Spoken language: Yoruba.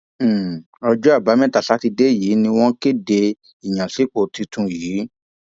um ọjọ àbámẹta sátidé yìí ni wọn kéde ìyànsípò tuntun yìí